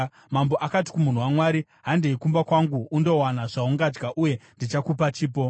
Mambo akati kumunhu waMwari, “Handei kumba kwangu undowana zvaungadya, uye ndichakupa chipo.”